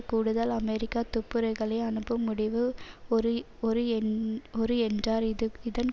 கூடுதல் அமெரிக்க துப்புரிகளை அனுப்பும் முடிவு ஒரு ஒரு என் ஒரு என்றார் இதஇதன்